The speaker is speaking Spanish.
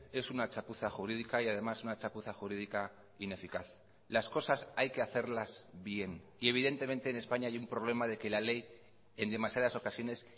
es una chapuza jurídica y además una chapuza jurídica ineficaz las cosas hay que hacerlas bien y evidentemente en españa hay un problema de que la ley en demasiadas ocasiones